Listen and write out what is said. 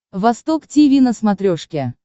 восток тиви на смотрешке